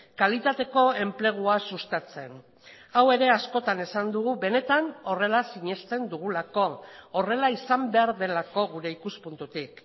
kalitateko enplegua sustatzen hau ere askotan esan dugu benetan horrela sinesten dugulako horrela izan behar delako gure ikuspuntutik